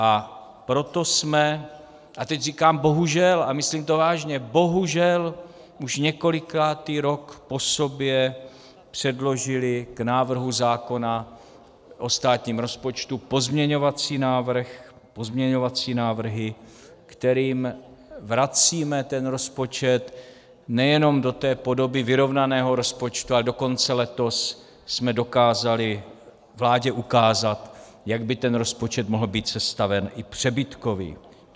A proto jsme - a teď říkám bohužel, a myslím to vážně - bohužel už několikátý rok po sobě předložili k návrhu zákona o státním rozpočtu pozměňovací návrh, pozměňovací návrhy, kterými vracíme ten rozpočet nejenom do té podoby vyrovnaného rozpočtu, ale dokonce letos jsme dokázali vládě ukázat, jak by ten rozpočet mohl být sestaven i přebytkový.